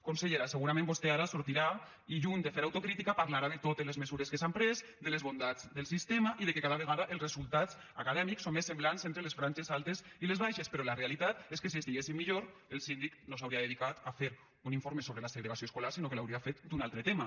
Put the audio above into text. consellera segurament vostè ara sortirà i lluny de fer autocrítica parlarà de totes les mesures que s’han pres de les bondats del sistema i del fet que cada vegada els resultats acadèmics són més semblants entre les franges altes i les baixes però la realitat és que si estiguéssim millor el síndic no s’hauria dedicat a fer un informe sobre la segregació escolar sinó que l’hauria fet d’un altre tema